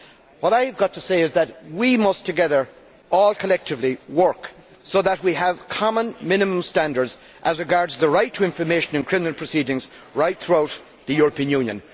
What I have to say is that we must work collectively so that we have common minimum standards as regards the right to information in criminal proceedings right throughout the European Union.